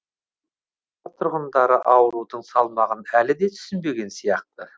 тұрғындары аурудың салмағын әлі де түсінбеген сияқты